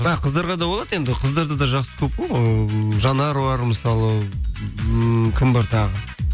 а қыздарға да болады енді қыздар да жақсы көп қой ыыы жанар бар мысалы ммм кім бар тағы